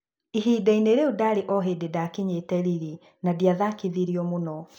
"Ihinda-inĩ rĩu ndaarĩ o hĩndĩ ndaakinyĩte Lilly na ndiathakithirio mũno.